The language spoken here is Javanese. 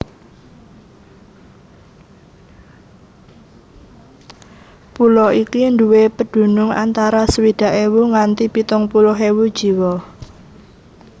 Pulo iki nduwé pedunung antara swidak ewu nganti pitung puluh ewu jiwa